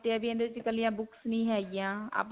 ਕੱਲਿਆਂ books ਨਹੀਂ ਹੈ ਗਿਆਂ.